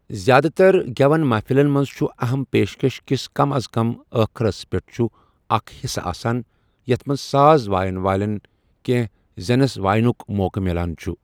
زیادٕ تر گٮ۪ونٕ محفِلن منٛز چُھ اَہم پیشكش كِس ،کم از کم ، ٲخرس پیٹھ چھٗ اَکھ حِصہٕ آسان ، یَتھ منٛز ساز واین وٲلِن كٖٗنِسٕیہ زنِس واینٗك موقہٕ میلان چھٗ ۔